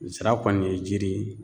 Zira kɔni ye jiri ye